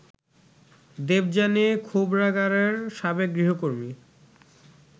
দেবযানী খোবরাগাড়ের সাবেক গৃহকর্মী